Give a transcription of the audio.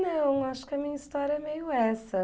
Não, acho que a minha história é meio essa.